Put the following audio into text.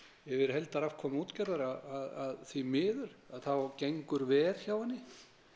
yfir heildarafkomu útgerðarinnar að því miður að þá gengur verr hjá henni